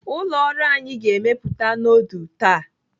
Ụlọ ọrụ anyi ga-emepụta nudul taa.